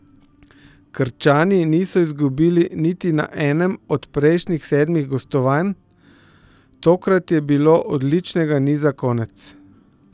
Krčani niso izgubili niti na enem od prejšnjih sedmih gostovanj, tokrat je bilo odličnega niza konec.